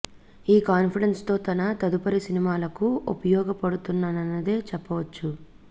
ఈ కాన్ఫిడెన్స్ తో తన తదుపరి సినిమాలకు ఉపయోగ పడుతున్నదనే చెప్పవచ్చు